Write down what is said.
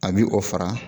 A bi o fara